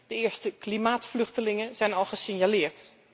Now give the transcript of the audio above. De eerste klimaatvluchtelingen zijn al gesignaleerd.